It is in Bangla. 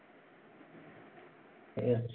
ঠিকই আছে।